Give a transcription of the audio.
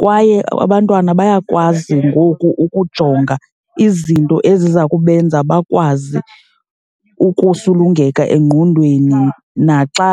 Kwaye abantwana bayakwazi ngoku ukujonga izinto eziza kubenza bakwazi ukusulungeka engqondweni naxa